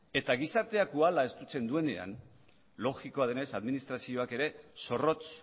eta gizartea koala estutzen duenean logikoa denez administrazioak ere zorrotz